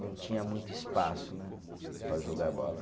Não tinha muito espaço né, para jogar bola.